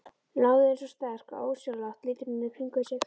Nálægðin svo sterk að ósjálfrátt lítur hún í kringum sig.